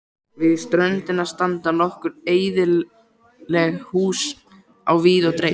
Við ströndina standa nokkur eyðileg hús á víð og dreif.